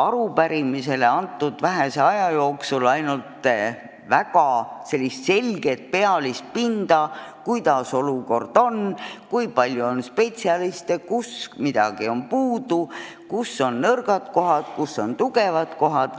arupärimiseks antud vähese aja jooksul kombata ainult pealispinda, kuidas olukord on: kui palju on spetsialiste, kus midagi on puudu, kus on nõrgad kohad, kus on tugevad kohad.